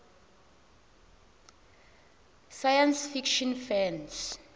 science fiction fans